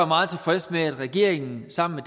meget tilfreds med at regeringen sammen